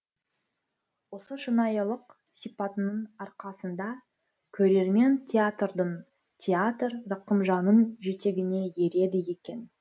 осы шынайылық сипатының арқасында көрермен театрдың театр рақымжанның жетегіне ереді екен